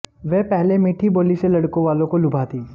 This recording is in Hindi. वह पहले मीठी बोली से लड़कों वालों को लुभाती